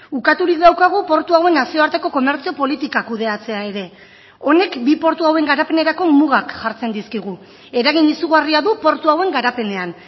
ukaturik daukagu portu hauen nazioarteko komertzio politika kudeatzea ere honek bi portu hauen garapenerako mugak jartzen dizkigu eragin izugarria du portu hauen garapenean